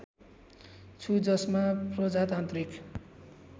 छु जसमा प्रजातान्त्रिक